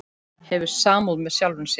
Hefur samúð með sjálfum sér.